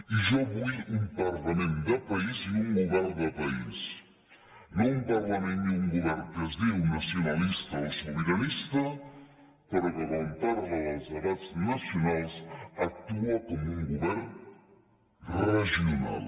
i jo vull un parlament de país i un govern de país no un parlament i un govern que es diu nacionalista o sobiranista però que quan parla dels debats nacionals actua com un govern regional